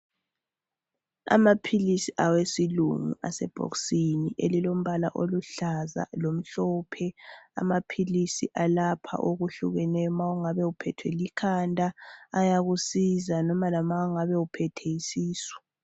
Amaphilisi awesilungu asebhokisini elilombala oluhlaza lomhlophe. Amaphilisi alapha okuhlukeneyo ma ungabe uphethwe likhanda ayakusiza noma lama ungabe uphethwe yisisu.